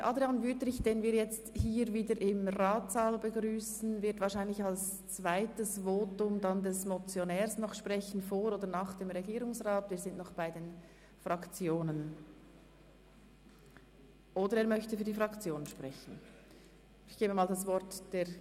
Ich gehe davon aus, dass Grossrat Wüthrich, den wir jetzt hier wieder im Ratssaal begrüssen, wahrscheinlich in einem folgenden Votum als Motionär vor oder nach der Regierungsrätin sprechen wird.